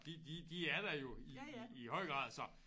De de de er der jo i i i høj grad så